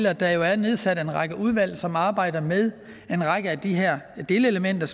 at der er nedsat en række udvalg som arbejder med en række af de her delelementer